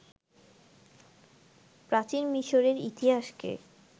প্রাচীন মিশরের ইতিহাসকে